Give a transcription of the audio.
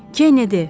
Kennedy.